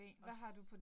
Også